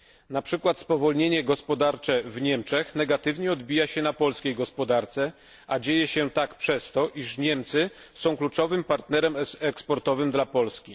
Na przykład spowolnienie gospodarcze w Niemczech negatywnie odbija się na polskiej gospodarce, a dzieje się tak dlatego, że Niemcy są kluczowym partnerem eksportowym dla Polski.